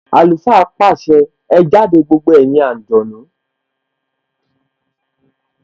Àlùfáà pàṣẹ! Ẹ jáde gbogbo ẹ̀yin àǹjọ̀nú